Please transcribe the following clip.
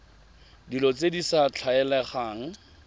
dilo tse di sa tlwaelegang